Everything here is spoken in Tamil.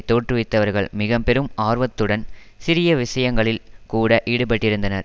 தோற்றுவித்தவர்கள் மிக பெரும் ஆர்வத்துடன் சிறிய விஷயங்களில் கூட ஈடுபட்டிருந்தனர்